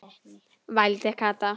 vældi Kata.